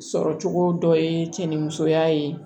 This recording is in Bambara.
Sɔrɔ cogo dɔ ye cɛnimusoya ye